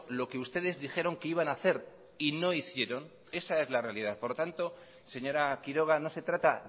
lo que ustedes dijeron que iban hacer y no hicieron esa es la realidad por lo tanto señora quiroga no se trata